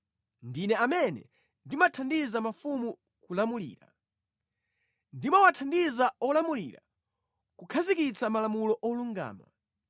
Ndine amene ndimathandiza mafumu kulamulira. Ndimawathandiza olamulira kukhazikitsa malamulo olungama.